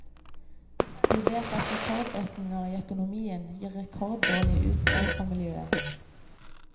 Vi vet at rekordøkninger i økonomien gir rekorddårlige utslag for miljøet.